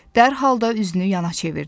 Dərhal da üzünü yana çevirdi.